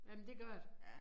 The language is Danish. Jamen det gør det